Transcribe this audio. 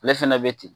Ale fɛnɛ be ten